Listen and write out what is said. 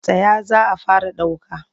Tsaya za a fara ɗauka!